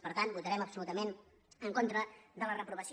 per tant votarem absolutament en contra de la reprovació